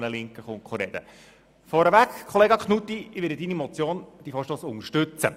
Um es vorwegzunehmen, Grossrat Knutti, ich werde Ihre Motion unterstützen.